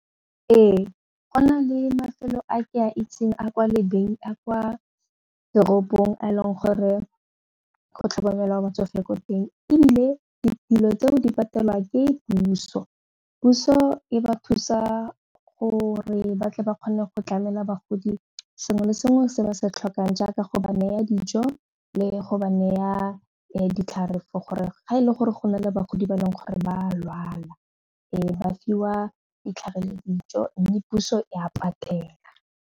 Ee, go na le mafelo a ke a itseng a kwa toropong a eleng gore go tlhokomelwa batsofe ko teng ebile ditilo tseo di patelwa ke puso. Puso e ba thusa gore ba tle ba kgone go tlamela bagodi sengwe le sengwe se ba se tlhokang jaaka go ba naya dijo le go ba neya ditlhare for gore ga e le gore go na le bagodi ba e leng gore ba a lwala e ba fiwa ditlhare le dijo mme puso e a patela.